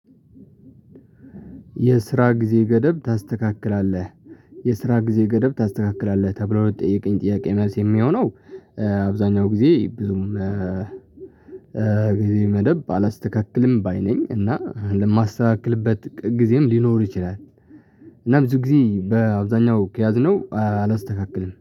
የስራ ጊዜ ገደብ ታስተካክላለህ? የስራ ጊዜ ገደብ ታስተካክላለህ ተብሎ ለተጠየቀኝ ጥያቄ መልስ የሚሆነው። አብዛኛው ጊዜ ብዙም ጊዜ መደብ አላስተካክልም ባይ ነኝ እና ለማስተካክልበት ጊዜም ሊኖር ይችላል። እና ብዙ ጊዜ በአብዛኛው ከያዝነው አላስተካክልም